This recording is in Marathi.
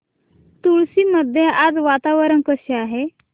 मुळशी मध्ये आज वातावरण कसे आहे